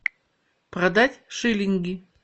продать шиллинги